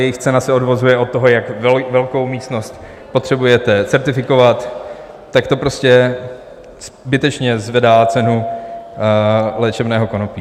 jejich cena se odvozuje od toho, jak velkou místnost potřebujete certifikovat, tak to prostě zbytečně zvedá cenu léčebného konopí.